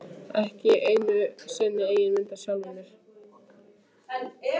Ekki einu sinni eigin mynd af sjálfum mér.